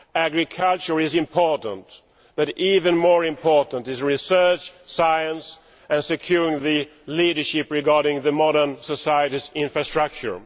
Agriculture is important but even more important are research, science and securing the leadership regarding modern society's infrastructure.